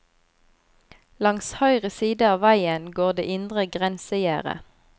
Langs høyre siden av veien går det indre grensegjerdet.